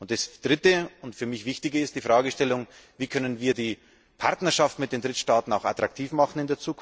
Und das Dritte und für mich Wichtige ist die Frage Wie können wir die Partnerschaft mit den Drittstaaten in Zukunft auch attraktiv machen?